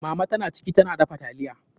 Mama ta na ciki, ta na dafa taliya.